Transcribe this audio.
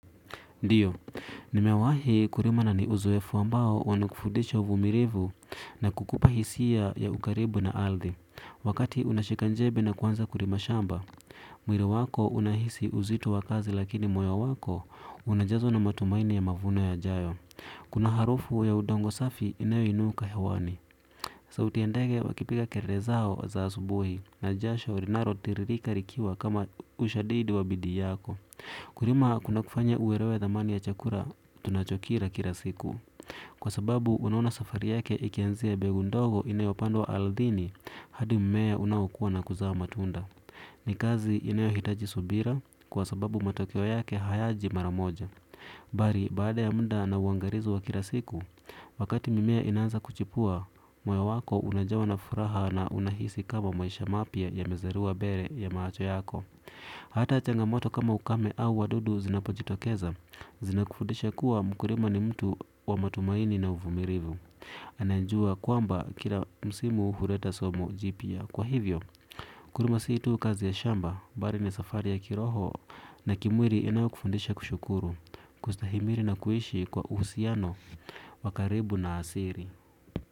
Ndiyo, nimewahi kulima na ni uzoefu ambao unakufundisha uvumilivu na kukupa hisia ya ukaribu na ardhi wakati unashika jembe na kuanza kulima shamba, mwili wako unahisi uzito wa kazi lakini moyo wako unajazwa na matumaini ya mavuno yajayo. Kuna harufu ya udongo safi inayounuka hewani. Sauti ya ndege wakipiga kelele zao za asubuhi na jasho linalo tiririka likiwa kama ushadidi wa bidii yako. Kulima kuna kufanya uelewe thamani ya chakura tunachokira kila siku kwa sababu unaona safari yake ikianzia mbegu ndogo inayopandwa ardhini hadi mmea unaokua na kuzaa matunda ni kazi inayohitaji subira kwa sababu matokeo yake hayaji mara moja bali baada ya muda na uangalizi wa kila siku wakati mimea inaanza kuchipua moyo wako unajawa na furaha na unahisi kama maisha mapya ya mezaliwa mbele ya macho yako hata changamoto kama ukame au wadudu zinapojitokeza zinakufundisha kuwa mkulima ni mtu wa matumaini na uvumilivu anajua kwamba kila msimu huleta somo jipya kwa hivyo, kulima sii tu kazi ya shamba, bali ni safari ya kiroho na kimwili yanayokufundisha kushukuru, kustahimiri na kuishi kwa uhusiano, wa karibu na asili.